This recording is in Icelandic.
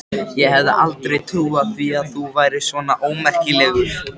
Ég hefði aldrei trúað því að þú værir svona ómerkilegur!